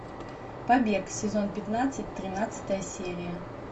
побег сезон пятнадцать тринадцатая серия